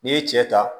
N'i ye cɛ ta